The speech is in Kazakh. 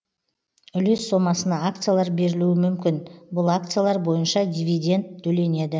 үлес сомасына акциялар берілуі мүмкін бұл акциялар бойынша дивиденд төленеді